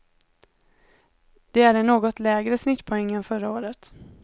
Det är en något lägre snittpoäng än förra året.